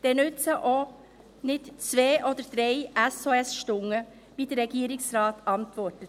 Da nützen auch zwei oder drei SOS-Stunden nicht, wie der Regierungsrat antwortet.